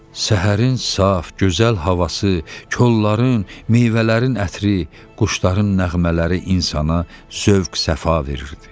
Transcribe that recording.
Səhərin saf, gözəl havası, kolların, meyvələrin ətri, quşların nəğmələri insana zövq-səfa verirdi.